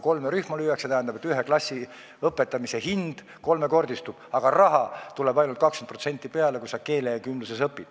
See tähendab, et ühe klassi õpetamise hind kolmekordistub, aga raha tuleb juurde ainult 20%, kui on keelekümblus.